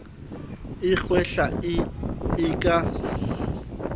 a kgwehla e e ka